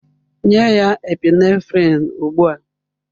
Nye ya Epinephrine ugbu a!